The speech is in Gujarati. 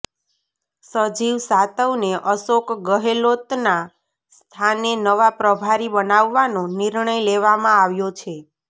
રાજીવ સાતવને અશોક ગહેલોતના સ્થાને નવા પ્રભારી બનાવવાનો નિર્ણય લેવામાં આવ્યો છે